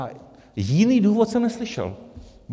A jiný důvod jsem neslyšel.